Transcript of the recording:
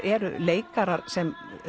eru leikarar sem